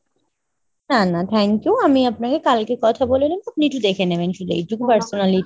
না না thank you। আমি আপনাকে কালকে কথা বলে নেবো আপনি একটু দেখে নেবেন শুধু এইটুকু personally